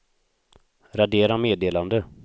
radera meddelande